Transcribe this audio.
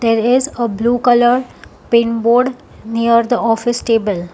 there is uh blue colour pin board near the office table.